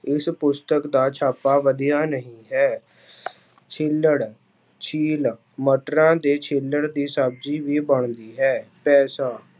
ਇਸ ਪੁਸਤਕ ਦਾ ਛਾਪਾ ਵਧੀਆ ਨਹੀਂ ਹੈ ਛਿੱਲੜ, ਛੀਲ ਮਟਰਾਂ ਦੇ ਛਿੱਲੜ ਦੀ ਸਬਜ਼ੀ ਵੀ ਬਣਦੀ ਹੈ, ਪੈਸਾ